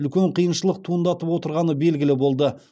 үлкен қиыншылық туындатып отырғаны белгілі болды